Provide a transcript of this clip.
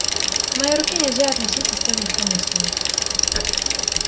к моей руке нельзя относиться столь легкомысленно